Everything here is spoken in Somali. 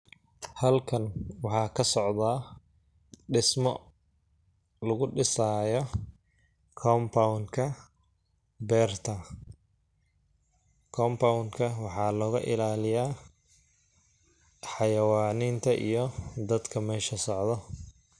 Halkan waxaa ka socdaa dhismo ,lagu dhisaayo compound ka beerta ,compound waxaa looga ilaaliyaa xayawaniinta iyo dadka meesha socdo .